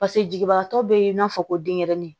Paseke jiginbagatɔ bɛ n'a fɔ ko denyɛrɛnin